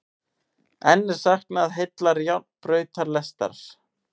Enn er saknað heillar járnbrautalestar